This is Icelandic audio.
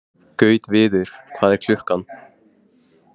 Gautviður, hvað er klukkan?